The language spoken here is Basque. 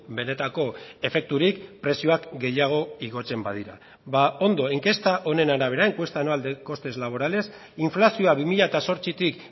benetako efekturik prezioak gehiago igotzen badira ba ondo inkesta honen arabera encuesta anual de costes laborales inflazioa bi mila zortzitik